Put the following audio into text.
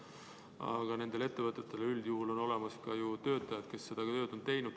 Aga nendel ettevõtetel üldjuhul on olemas ka töötajad, kes seda tööd on teinud.